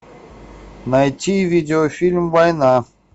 найти видеофильм война